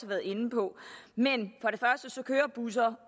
været inde på men busser